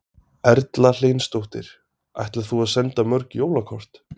Erla Hlynsdóttir: Ætlar þú að senda mörg jólakort?